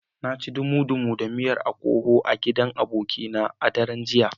Na ci dumu-dumu da miyar okoho a gidan abokina na idoma a daren jiya.